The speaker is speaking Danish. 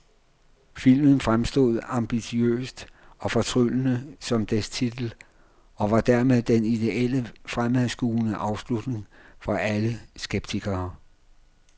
Filmen fremstod ambitiøst og fortryllende som dets titel, og var dermed den idéelle fremadskuende afslutning for alle skeptikere.